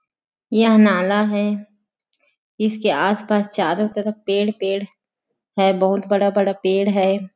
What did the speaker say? यह नाला है इसके आस-पास चारो तरफ पेड़ पेड़ है बहुत बड़ा-बड़ा पेड़ है।